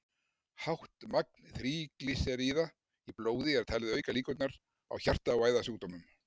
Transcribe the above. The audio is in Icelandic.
Hátt magn þríglýseríða í blóði er talið auka líkurnar á hjarta- og æðasjúkdómum.